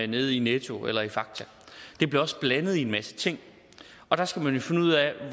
nede netto eller i fakta det bliver også blandet i en masse ting og der skal man jo finde ud af